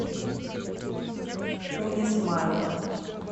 уни смайл